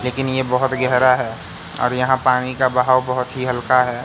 लेकिन ये बहुत गहरा है और यहां पानी का बहाव बहुत ही हल्का है।